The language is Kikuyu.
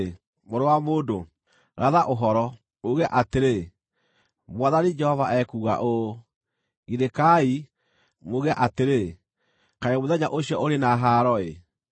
“Mũrũ wa mũndũ, ratha ũhoro, uuge atĩrĩ: ‘Mwathani Jehova ekuuga ũũ: “ ‘Girĩkai, muuge atĩrĩ, “Kaĩ mũthenya ũcio ũrĩ na haaro-ĩ!”